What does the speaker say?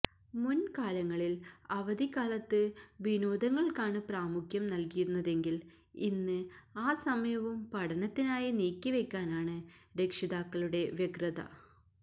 മുന്കാലങ്ങളില് അവധിക്കാലത്ത് വിനോദങ്ങള്ക്കാണ് പ്രാമുഖ്യം നല്കിയിരുന്നതെങ്കില് ഇന്ന് ആ സമയവും പഠനത്തിനായി നീക്കിവയ്ക്കാനാണ് രക്ഷിതാക്കളുടെ വ്യഗ്രത